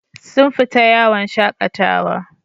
Sun fita yawon shakatawa.